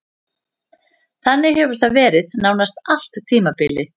Þannig hefur það verið nánast allt tímabilið.